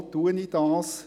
Weshalb erwähne ich das?